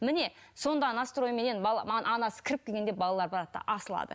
міне сонда настройменен анасы кіріп келгенде балалар барады да асылады